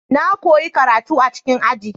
Na koyi karatu a cikin aji.